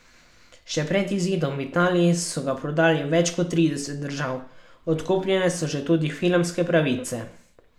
Še pred izidom v Italiji so ga prodali v več kot trideset držav, odkupljene so tudi že filmske pravice.